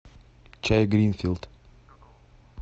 чай гринфилд